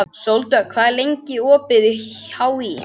Sóldögg, hvað er opið lengi í HÍ?